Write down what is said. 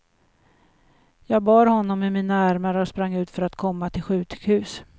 Jag bar honom i mina armar och sprang ut för att komma till sjukhus.